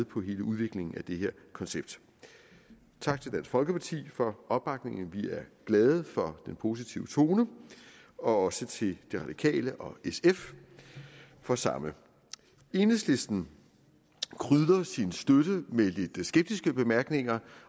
på hele udviklingen af det her koncept tak til dansk folkeparti for opbakningen vi er glade for den positive tone også tak til de radikale og sf for samme enhedslisten krydrede sin støtte med lidt skeptiske bemærkninger